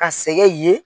Ka sɛgɛn ye